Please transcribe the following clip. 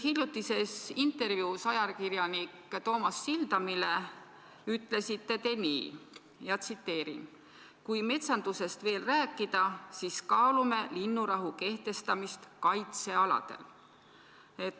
Hiljutises intervjuus ajakirjanik Toomas Sildamile ütlesite te nii: "Kui metsandusest veel rääkida, siis kaalume linnurahu kehtestamist kaitsealadel.